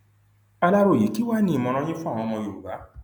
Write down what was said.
aláròye kí wàá ní ìmọràn yín fún àwọn ọmọ yorùbá